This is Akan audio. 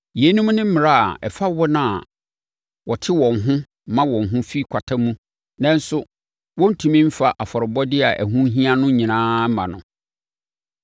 Yeinom ne mmara a ɛfa wɔn a wɔte wɔn ho ma wɔn ho fi kwata mu nanso wɔntumi mfa afɔrebɔdeɛ a ɛho hia no nyinaa mma no.